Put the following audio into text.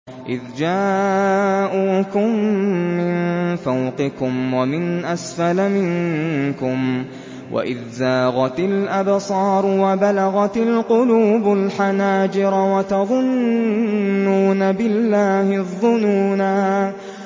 إِذْ جَاءُوكُم مِّن فَوْقِكُمْ وَمِنْ أَسْفَلَ مِنكُمْ وَإِذْ زَاغَتِ الْأَبْصَارُ وَبَلَغَتِ الْقُلُوبُ الْحَنَاجِرَ وَتَظُنُّونَ بِاللَّهِ الظُّنُونَا